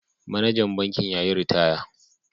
Manajan bankin ya yi ritaya.